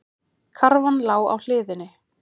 Karfan lá á hliðinni.